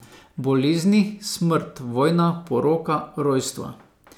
Bolezni, smrt, vojna, poroka, rojstva.